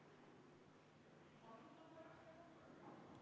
Vaheaeg on läbi.